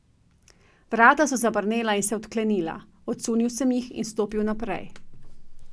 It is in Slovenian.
Vrata so zabrnela in se odklenila, odsunil sem jih in stopil naprej.